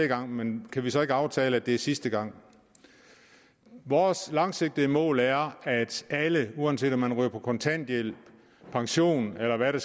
gang men kan vi så ikke aftale at det er sidste gang vores langsigtede mål er at alle uanset om man ryger på kontanthjælp pension eller hvad det